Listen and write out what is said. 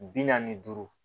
Bi naani ni duuru